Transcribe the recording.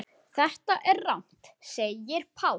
Þetta er rangt segir Páll.